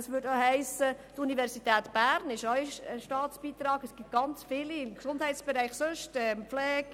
Das trifft beispielsweise auch auf die Universität Bern und viele andere Institutionen im Gesundheits- und Pflegebereich zu, die Staatsbeiträge erhalten.